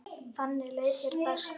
Þannig leið þér best.